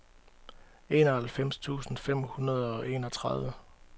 enoghalvfems tusind fem hundrede og enogtredive